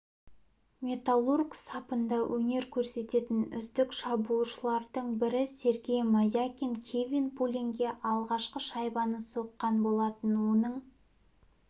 металлург сапында өнер көрсететін үздік шабуылшылардың бірі сергей мозякин кевин пуленге алғашқы шайбаны соққан болатын оның